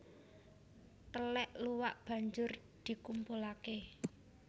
Telèk luwak banjur dikumpulake